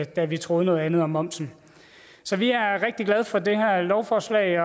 da vi troede noget andet om momsen så vi er rigtig glade for det her lovforslag